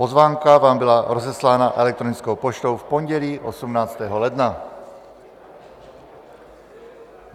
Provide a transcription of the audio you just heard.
Pozvánka vám byla rozeslána elektronickou poštou v pondělí 18. ledna.